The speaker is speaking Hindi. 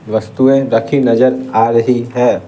वस्तुएं रखी नजर आ रही है।